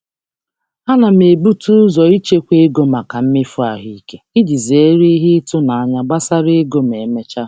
M M na-ebute ụzọ um ichekwa maka mmefu um nlekọta ahụike iji zere mmechuihu ego n'ikpeazụ.